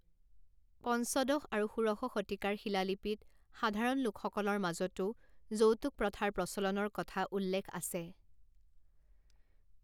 পঞ্চদশ আৰু ষোড়শ শতিকাৰ শিলালিপিত সাধাৰণ লোকসকলৰ মাজতো যৌতুক প্ৰথাৰ প্ৰচলনৰ কথা উল্লেখ আছে।